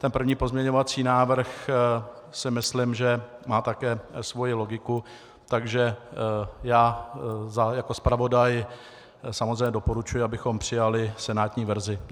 Ten první pozměňovací návrh si myslím, že má také svoji logiku, takže já jako zpravodaj samozřejmě doporučuji, abychom přijali senátní verzi.